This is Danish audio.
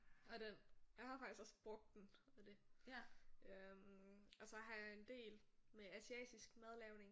Og den jeg har faktisk også brugt den og det. Øh og så har jeg en del med asiatisk madlavning